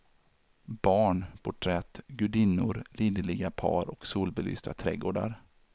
Barn, porträtt, gudinnor, liderliga par och solbelysta trädgårdar.